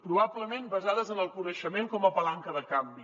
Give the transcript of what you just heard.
probablement basades en el coneixement com a palanca de canvi